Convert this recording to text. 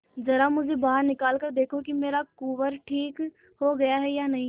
जरा मुझे बाहर निकाल कर देखो कि मेरा कुंवर ठीक हो गया है या नहीं